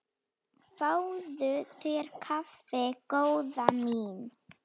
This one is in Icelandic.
Fáðu þér kaffi góða mín.